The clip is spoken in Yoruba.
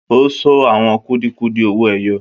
O sọ àwọn kudiẹ-kudiẹ owó ẹyọ.